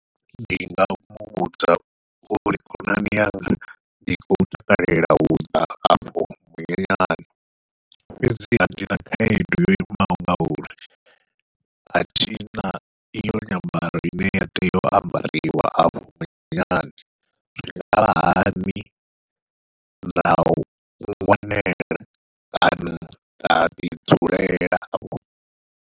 Ndi nga muvhudza uri khonani yanga ndi khou takalela uḓa hafho munyanyani, fhedziha ndi na khaedu yo imaho ngauri athina iyo nyambaro ine ya tea u ambariwa afho munyanyani, zwi ngavha hani na ngwanela kana nda ḓi dzulela.